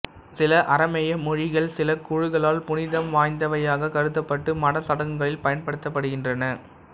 சில அரமேய மொழிகள் சில குழுக்களால் புனிதம் வாய்ந்தவையாக கருதப்பட்டு மத சடங்குகளில் பயன்படுத்தப்படுகின்றன